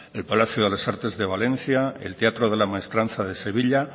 el palacio de las artes de valencia el teatro de la maestranza de sevilla